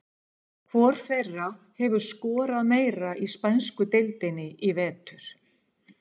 Hvor þeirra hefur skorað meira í spænsku deildinni í vetur?